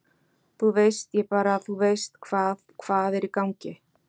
Þú veist, ég bara þú veist hvað, hvað er í gangi?